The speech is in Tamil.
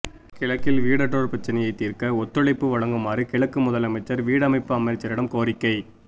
கிழக்கில் வீடற்றோர் பிரச்சினையைத் தீர்க்க ஒத்துழைப்பு வழங்குமாறு கிழக்கு முதலமைச்சர் வீடமைப்பு அமைச்சரிடம் கோரிக்கை